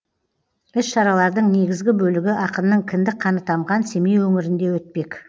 іс шаралардың негізгі бөлігі ақынның кіндік қаны тамған семей өңірінде өтпек